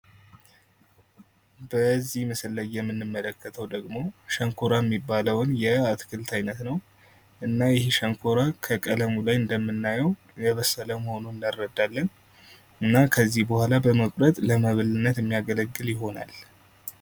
በዚህ ምስል ላይ የምንመለከተው ደግሞ ሸንኮራ የሚባለውን የአትክልት አይነት ነው። እና ይህ ሸንኮራ ከቀለሙ ላይ እንደምናየው የበሰለ መሆኑን እንረዳለን። እና ከዚህ በኋላ በመቁጠር ለመብልነት የሚያገለግል ይሆናል።